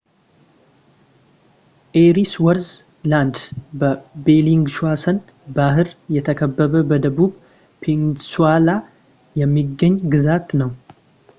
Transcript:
ኤሪስወርዝ ላንድ በ ቤሊንግሿሰን ባህር የተከበበ በደቡብ ፔኑንስላ የሚገኝ ግዛት ነው